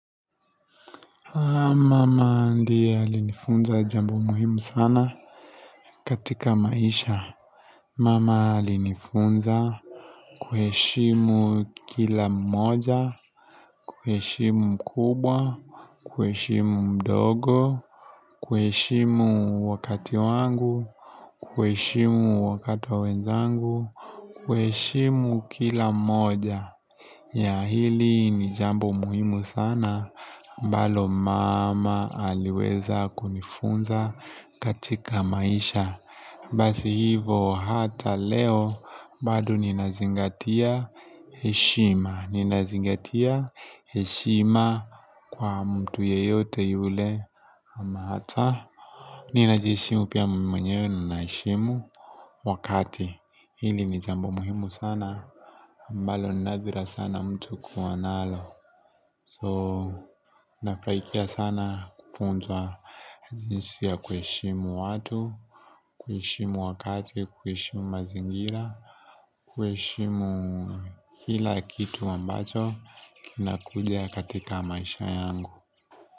Mama ndiye alinifunza jambo muhimu sana katika maisha. Mama alinifunza, kuheshimu kila mmoja, kuheshimu mkubwa, kuheshimu mdogo, kuheshimu wakati wangu, kuheshimu wakati wenzangu, kuheshimu kila mmoja. Hili ni jambo muhimu sana, ambalo mama aliweza kunifunza, katika maisha. Basi hivyo hata leo. Bado ninazingatia heshima. Ninazingatia heshima kwa mtu yeyote yule. Hata ninajiheshimu pia mimi mwenyewe naheshimu wakati. Hili ni jambo muhimu sana ambalo nadra sana mtu kuwa nalo. So nafanikia sana kufunzwa jinsi ya kuheshimu watu. Kuheshimu wakati, kuheshimu mazingira. Kuheshimu kila kitu ambacho. Kina kuja katika maisha yangu.